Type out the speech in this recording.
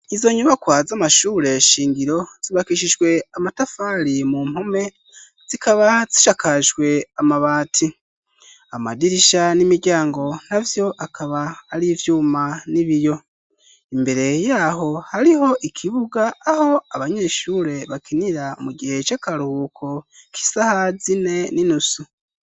Izo nyubakwa z'amashure shingiro, zibakishijwe amatafari mu mpome, zikaba zishakajwe amabati. Amadirisha n'imiryango navyo akaba ari ivyuma n'ibiyo, imbere yaho hariho ikibuga aho abanyeshure bakinira mu gihe c'akaruhuko k'isaha zine n'inusu.